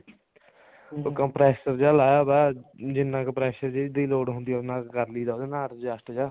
ਉਹ compressor ਜਾ ਲਾਇਆ ਹੋਇਆ ਜਿੰਨੇ ਕੁ pressure ਦੀ ਲੋੜ ਹੁੰਦੀ ਆ ਉਹਦੇ ਨਾਲ ਕਰ ਲਈਦਾ ਉਹਦੇ ਨਾਲ adjust ਜਾ